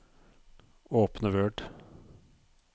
Åpne Word